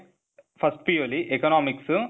first PU ಅಲ್ಲಿ economics,